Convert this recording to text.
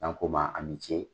N'an ko ma a ni ce.